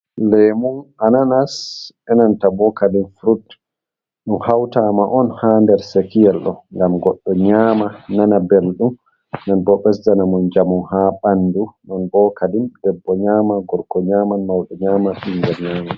Lemu, ananas, benanta bo kadi furut ɗum hautama on ha nder sekiyel ɗo gam goddo nyama nana beldum, den boo ɓesdana mo njamu ha ɓandu, non bo kadin debbo nyama, gorko nyaman, mauɗo nyama, ɓingel nyaman.